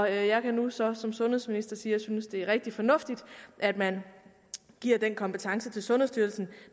jeg kan nu så som sundhedsminister sige at jeg synes det er rigtig fornuftigt at man giver den kompetence til sundhedsstyrelsen